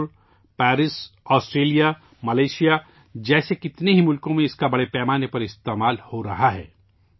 Singapore, Paris, Australia, Malaysia جیسے کئی ممالک میں بڑے پیمانے پر اس تکنیک کا استعمال ہو رہا ہے